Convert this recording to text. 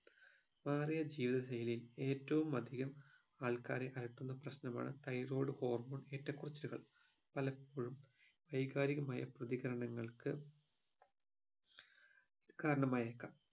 മാറിയ ജീവിത ശൈലി ഏറ്റവും അതികം ആൾക്കാരെ അലട്ടുന്ന പ്രശ്നമാണ് thyroid hormone ഏറ്റക്കുറച്ചിലുകൾ പലപ്പോഴും വൈകാരികമായ പ്രതികരണങ്ങൾക്ക് കാരണമായേക്കാം